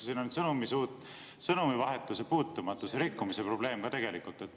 Siin on sõnumivahetuse puutumatuse rikkumise probleem ka tegelikult.